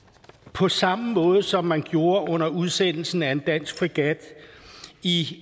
på samme måde som man gjorde under udsendelsen af en dansk fregat i